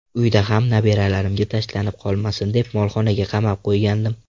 Uyda ham nabiralarimga tashlanib qolmasin deb, molxonaga qamab qo‘ygandim.